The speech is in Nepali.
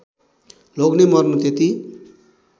लोग्ने मर्नु त्यति